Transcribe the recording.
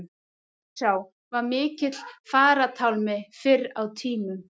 Þjórsá var mikill farartálmi fyrr á tímum.